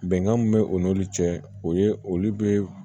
Bɛnkan min be u n'olu cɛ o ye olu be